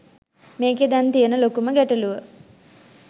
මේකේ දැන් තියෙන ලොකුම ගැටළුව